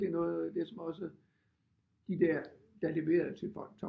Virkelig noget af det som også de der der leverede til folk